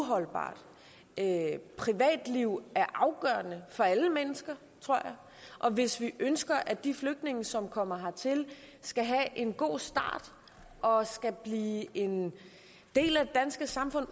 holdbart privatliv er afgørende for alle mennesker tror jeg og hvis vi ønsker at de flygtninge som kommer hertil skal have en god start og skal blive en del af det danske samfund